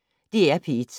DR P1